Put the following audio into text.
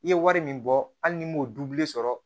I ye wari min bɔ hali n'i m'o sɔrɔ